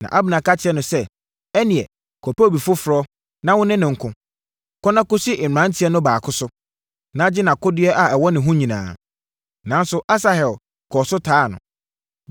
Na Abner ka kyerɛɛ no sɛ, “Ɛnneɛ, kɔpɛ obi foforɔ, na wone no nko. Kɔ na kɔsi mmeranteɛ no baako so, na gye nʼakodeɛ a ɛwɔ ne ho nyinaa.” Nanso, Asahel, kɔɔ so taa no.